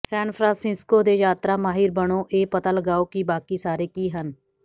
ਸੈਨ Francisco ਦੇ ਯਾਤਰਾ ਮਾਹਿਰ ਬਣੋ ਇਹ ਪਤਾ ਲਗਾਓ ਕਿ ਬਾਕੀ ਸਾਰੇ ਕੀ ਹਨ